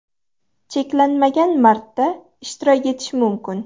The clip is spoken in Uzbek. Cheklanmagan marta ishtirok etish mumkin .